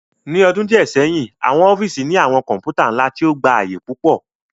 Ni ọdun diẹ sẹhin, awọn ọfiisi ni awọn kọǹpútà nla ti o gba aaye pupọ